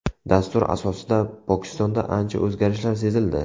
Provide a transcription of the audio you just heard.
Dastur asosida Pokistonda ancha o‘zgarishlar sezildi.